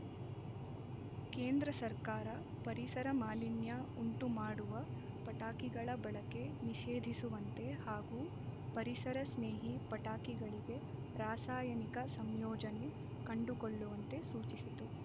ಕೇಂದ್ರ ಸರ್ಕಾರ ಪರಿಸರ ಮಾಲಿನ್ಯ ಉಂಟು ಮಾಡುವ ಪಟಾಕಿಗಳ ಬಳಕೆ ನಿಷೇಧಿಸುವಂತೆ ಹಾಗೂ ಪರಿಸರ ಸ್ನೇಹಿ ಪಟಾಕಿಗಳಿಗೆ ರಾಸಾಯನಿಕ ಸಂಯೋಜನೆ ಕಂಡುಕೊಳ್ಳುವಂತೆ ಸೂಚಿಸಿತು